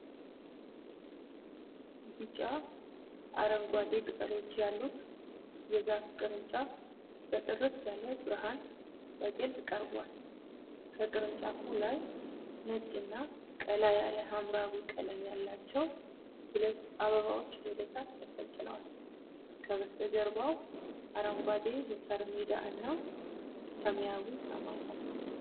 ቢጫ አረንጓዴ ቅጠሎች ያሉት የዛፍ ቅርንጫፍ በጥርት ያለ ብርሃን በግልጽ ቀርቧል። ከቅርንጫፉ ላይ ነጭ እና ቀላ ያለ ሐምራዊ ቀለም ያላቸው ሁለት አበባዎች ወደ ታች ተንጠልጥለዋል። ከበስተጀርባው አረንጓዴ የሣር ሜዳ እና ሰማያዊ ሰማይ አለ።